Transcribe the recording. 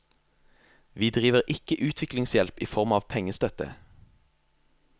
Vi driver ikke utviklingshjelp i form av pengestøtte.